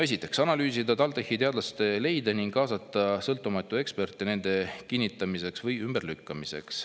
Esiteks, analüüsida TalTechi teadlaste leide ning kaasata sõltumatuid eksperte nende kinnitamiseks või ümberlükkamiseks.